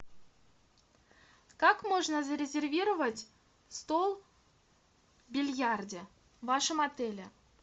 как можно зарезервировать стол в бильярде в вашем отеле